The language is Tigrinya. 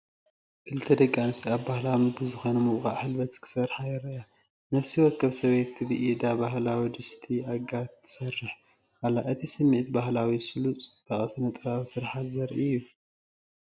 ክልተ ደቂ ኣንስትዮ ኣብ ባህላዊ ምግቢ ዝኾነ ምውቃዕ ሕልበት ክሰርሓ ይረኣያ። ነፍሲ ወከፍ ሰበይቲ ብኢዳ ባህላዊ ድስቲ ኣጋር ትሰርሕ ኣላ። እቲ ስሚዒት ባህላዊ፡ ስሉጥ፡ ጽባቐ ስነ-ጥበባዊ ስርሓት ዘርኢ እዩ።